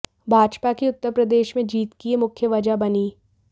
भाजपा की उत्तर प्रदेश में जीत की यह मुख्य वजह बनी